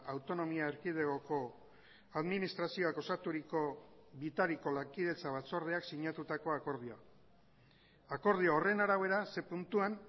autonomia erkidegoko administrazioak osaturiko bitariko lankidetza batzordeak sinatutako akordioa akordio horren arabera ze puntuan